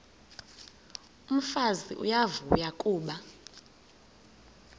umfazi uyavuya kuba